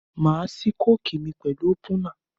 Màá ṣí kókì mi pẹ̀lú ópúnà.